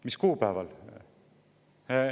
Mis kuupäeval?